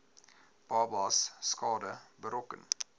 babas skade berokken